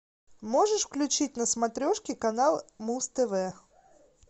можешь включить на смотрешке канал муз тв